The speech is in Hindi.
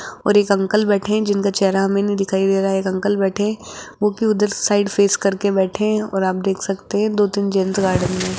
और एक अंकल बैठे है जिनका चेहरा हमें नहीं दिखाई दे रहा एक अंकल बैठे है वो भी उधर साइड फेस करके बैठे है और आप देख सकते है दो तीन जेंट्स गार्डन में है।